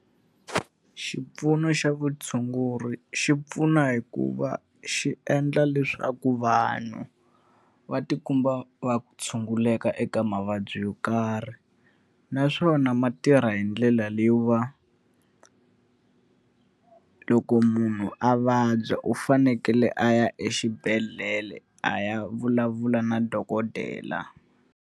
Xipfuno xa vutshunguri xi pfuna hi ku va xi endla leswaku vanhu va tikuma va tshunguleka eka mavabyi yo karhi. Naswona ma tirha hi ndlela leyiwa loko munhu a vabya u fanekele a ya exibedhlele a ya vulavula na dokodela.